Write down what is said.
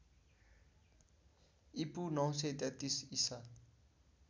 ईपू ९३३ ईसा